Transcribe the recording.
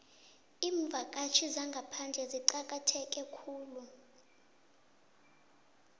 iimvakatjhi zangaphandle zicakatheke khulu